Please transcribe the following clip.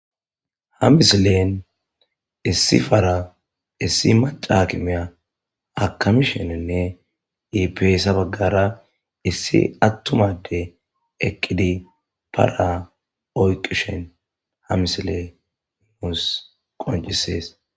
Ha misilen issi fara issi macakimiya akamishenenne iipeyssa baggara issi attumade eqqidi paraoyqishen ha misile muus qoncisees.